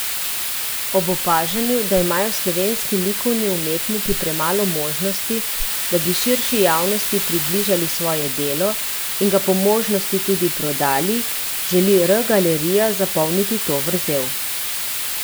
Ob opažanju, da imajo slovenski likovni umetniki premalo možnosti, da bi širši javnosti približali svoje delo, in ga po možnosti tudi prodali, želi R galerija zapolniti to vrzel.